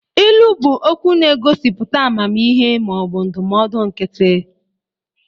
Ilu bụ okwu na-egosipụta amamihe ma ọ bụ ndụmọdụ nkịtị.